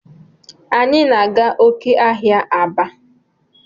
Anyi na aga oke ahia Aba.